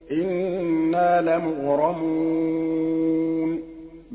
إِنَّا لَمُغْرَمُونَ